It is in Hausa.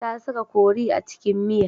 Ta saka kori a cikin miya.